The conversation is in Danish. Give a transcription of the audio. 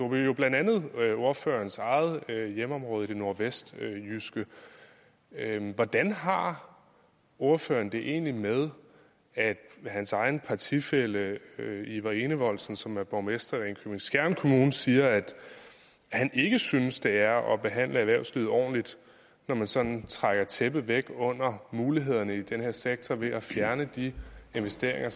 byer blandt andet ordførerens eget hjemområde i det nordvestjyske hvordan har ordføreren det egentlig med at hans egen partifælle iver enevoldsen som er borgmester i ringkøbing skjern kommune siger at han ikke synes det er at behandle erhvervslivet ordentligt når man sådan trækker tæppet væk under mulighederne i den her sektor ved at fjerne de investeringer